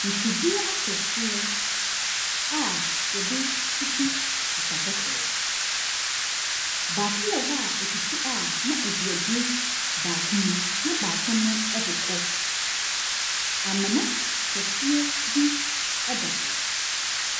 Mfidie akɛseɛ a yɛdetutu sika kɔkɔɔ. Baako wɔ hɔ a etutu a na ɛdeɛgu baako mu na baako no ɛdekɔ. Amena kɛseɛ bi ɛda hɔ.